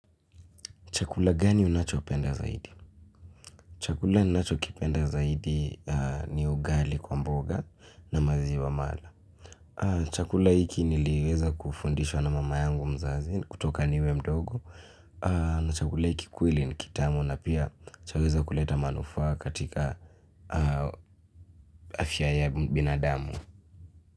Chakula gani unachopenda zaidi? Chakula ninachokipenda zaidi ni ugali kwa mboga na maziwa mala. Chakula hiki niliweza kufundishwa na mama yangu mzazi kutoka niwe mdogo na chakula hiki kweli ni kitamu na pia chaweza kuleta manufaa katika afya ya binadamu.